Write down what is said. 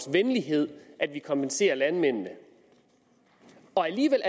venlighed at man kompenserer landmændene og alligevel